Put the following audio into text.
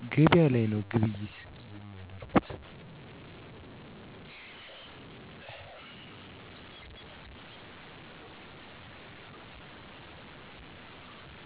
ገቢያ ላይ ነዉ ግብይት የሚያደርጉት።